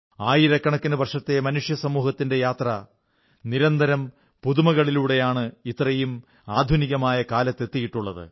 ആയിരക്കണക്കിനു വർഷത്തെ മനുഷ്യസമൂഹത്തിന്റെ യാത്ര നിരന്തരം പുതുമകളിലൂടെയാണ് ഇത്രയും ആധുനികമായ കാലത്തിലെത്തിയിട്ടുള്ളത്